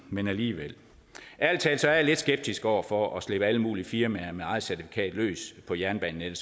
men alligevel ærlig talt er jeg lidt skeptisk over for at slippe alle mulige firmaer med eget certifikat løs på jernbanenettet